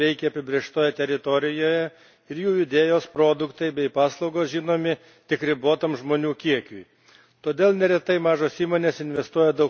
Tačiau dažnai dėl resursų trūkumo jos veikia apibrėžtoje teritorijoje ir jų idėjos, produktai bei paslaugos žinomi tik ribotam žmonių kiekiui.